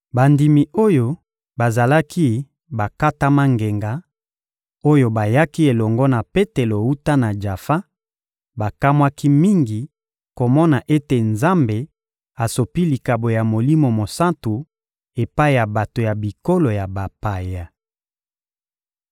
Bandimi oyo bazalaki bakatama ngenga, oyo bayaki elongo na Petelo wuta na Jafa, bakamwaki mingi komona ete Nzambe asopi likabo ya Molimo Mosantu epai ya bato ya bikolo ya bapaya.